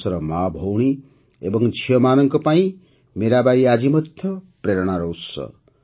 ଦେଶର ମା ଭଉଣୀ ଏବଂ ଝିଅମାନଙ୍କ ପାଇଁ ମୀରାବାଈ ଆଜି ମଧ୍ୟ ପ୍ରେରଣାର ଉତ୍ସ